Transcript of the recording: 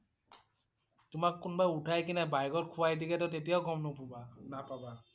তোমাক কোনোবাই উঠাই কেনে বাহিৰত শুৱাই দিলেটো তেতিয়াও গম নোপুবা~নাপাবা ।